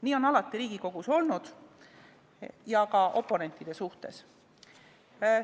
Nii on alati Riigikogus olnud, ka oponentide suhtes.